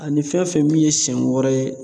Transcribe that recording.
Ani fɛn fɛn min ye sɛn wɛrɛ ye